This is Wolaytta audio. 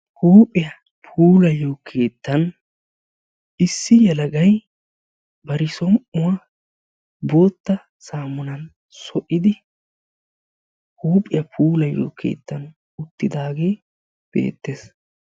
Huuphiya puulayiyo keettan issi yelagay bari som"uwaa bootta saammunan so"idi huuphiya puulayiyo keettan uttidaagee beettes.